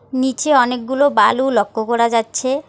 নীচে অনেকগুলো বালু লক্ষ্য করা যাচ্ছে।